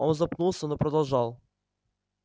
он запнулся но продолжал